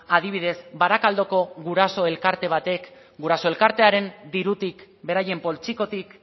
adibidez barakaldoko guraso elkarte batek guraso elkartearen dirutik beraien poltsikotik